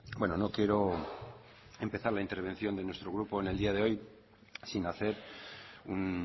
bueno no quiero empezar la intervención de nuestro grupo en el día de hoy sin hacer un